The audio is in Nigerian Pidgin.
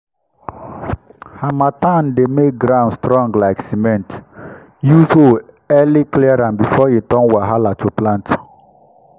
harmattan dey make ground strong like cement—use hoe early clear am before e turn wahala to plant.